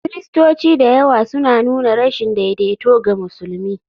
Kiristoci da yawa suna nuna rashin daidaito ga musulmi.